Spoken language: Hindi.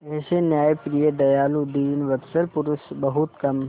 ऐसे न्यायप्रिय दयालु दीनवत्सल पुरुष बहुत कम थे